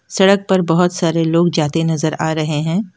सड़क पर बहोत सारे लोग जाते नजर आ रहे हैं।